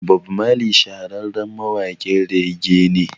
Bob Marley shahararren mawaƙin rege ne